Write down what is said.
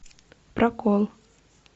прокол